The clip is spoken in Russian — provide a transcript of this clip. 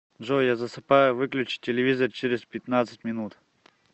джой я засыпаю выключи телевизор через пятнадцать минут